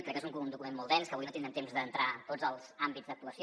crec que és un document molt dens que avui no tindrem temps d’entrar en tots els àmbits d’actuació